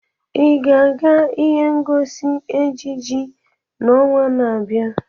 Ị ga-aga ihe ngosi ejiji n'ọnwa na-abịa?